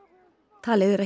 talið er að